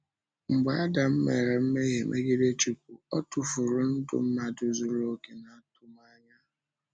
Mgbe Ádám mere mmehie megide Chúkwú, ọ tụfùrù ndụ mmadụ zuru òkè na atụmànyà ya.